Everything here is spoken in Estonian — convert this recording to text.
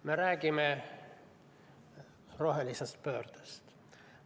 Me räägime rohelisest pöördest.